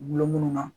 Bulon munnu na